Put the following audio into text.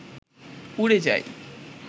উড়ে যাই